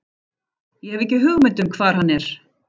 Ég hef ekki hugmynd um hvar hann er.